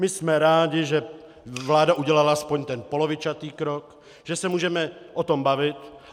My jsme rádi, že vláda udělala aspoň ten polovičatý krok, že se můžeme o tom bavit.